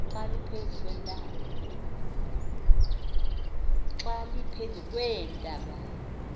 xa liphezu kweentaba